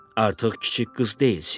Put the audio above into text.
Artıq kiçik qız deyilsiz.